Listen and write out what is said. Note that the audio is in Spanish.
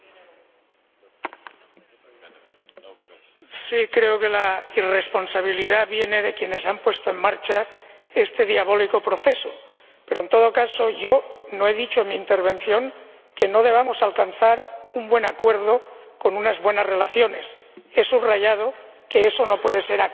Señor Ujazdowski, sí, creo que la irresponsabilidad viene de quienes han puesto en marcha este diabólico proceso, pero, en todo caso, yo no he dicho en mi intervención que no debamos alcanzar un buen acuerdo con unas buenas relaciones he subrayado que eso no puede ser a costa de la Unión Europea.